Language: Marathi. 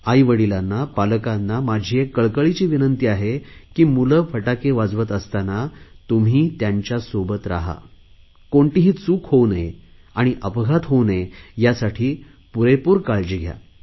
आईवडिलांना पालकांना माझी एक कळकळीची विनंती आहे की मुले फटाके वाजवत असतांना तुम्ही त्यांच्यासोबत राहा कोणतीही चूक होऊ नये आणि अपघात होऊ नये यासाठी पुरेपूर काळजी घ्या